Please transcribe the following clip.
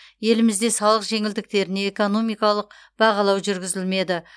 елімізде салық жеңілдіктеріне экономикалық бағалау жүргізілмеді